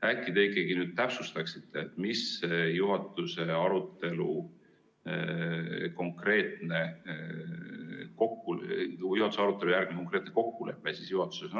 Äkki te ikkagi nüüd täpsustaksite, mis oli juhatuse arutelu järgne konkreetne kokkulepe juhatuses.